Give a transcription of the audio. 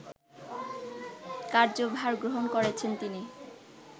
কার্যভার গ্রহণ করছেন তিনি